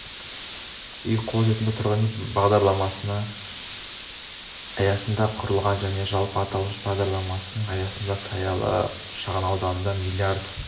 үй қолжетімді тұрғын үй мембағдарламасы аясында құрылған және жалпы аталмыш бағдарлама аясында саялы шағын ауданында млрд